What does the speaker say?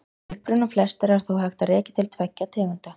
Uppruna flestra er þó hægt að rekja til tveggja tegunda.